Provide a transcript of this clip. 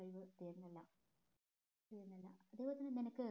തീര്നല്ലാം അതുപോലെ തന്നെ നിനക്ക്